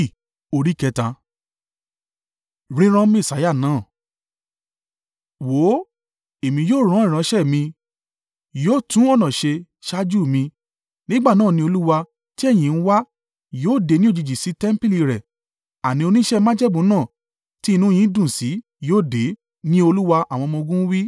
“Wò ó, Èmi yóò ran ìránṣẹ́ mi, yóò tún ọ̀nà ṣe ṣáájú mi. Nígbà náà ni Olúwa, tí ẹ̀yin ń wa, yóò dé ni òjijì sí tẹmpili rẹ̀; àní oníṣẹ́ májẹ̀mú náà, tí inú yín dùn sí, yóò dé,” ni Olúwa àwọn ọmọ-ogun wí.